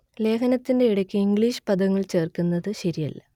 ലേഖനത്തിന്റെ ഇടയ്ക്ക് ഇംഗ്ലീഷ് പദങ്ങൾ ചേർക്കുന്നത് ശരിയല്ല